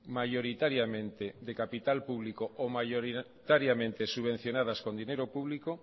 mayoritariamente de capital público o mayoritariamente subvencionadas con dinero público